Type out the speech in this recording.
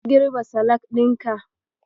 Ka girbe salak ɗinka?